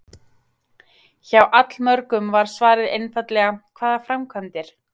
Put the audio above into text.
Hjá allmörgum var svarið einfaldlega: Hvaða framkvæmdir?